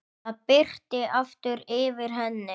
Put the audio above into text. Það birti aftur yfir henni.